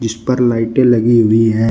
छ ऊपर लाइटें लगी हुई है।